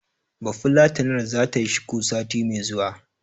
Bafulatanar zata yi shuku, sati mai zuwa.